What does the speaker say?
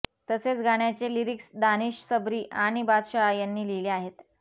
तसेच गाण्याचे लिरिक्स दानिश सबरी आणि बादशाह यांनी लिहिले आहेत